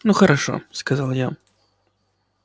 ну хорошо сказала я